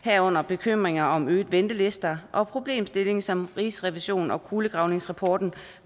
herunder bekymringer om øgede ventelister og problemstillingen som rigsrevisionen og kulegravningsrapporten